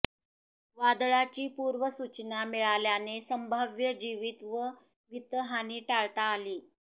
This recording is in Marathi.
वादळाची पूर्वसूचना मिळाल्याने संभाव्य जीवित व वित्तहानी टाळता आली